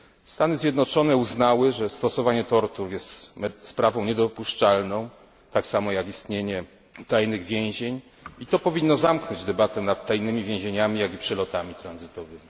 Stany Zjednoczone uznały, że stosowanie tortur jest sprawą niedopuszczalną, tak samo jak istnienie tajnych więzień, i to powinno zamknąć debatę nad tajnymi więzieniami, jak i przelotami tranzytowymi.